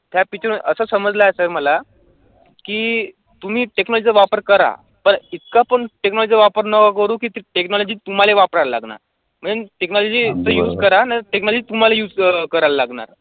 त्या picture मध्ये असं समजलं असेल मला की तुम्ही technology चा वापर करा पण इतका पण technology वापर नका करू की ती technology तुम्हाले वापरायला लागणार म्हणजे technology चं use करा नाही म्हणजे तुम्हाले use क करायला लागणार असं